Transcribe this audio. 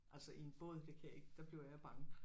Altså i en båd det kan jeg ikke der bliver jeg bange